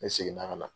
Ne seginna ka na